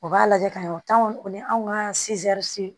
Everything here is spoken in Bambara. U b'a lajɛ ka ɲɛ o t'anw ni anw ka